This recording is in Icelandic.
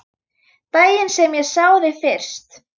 Daginn sem ég sá þig fyrst.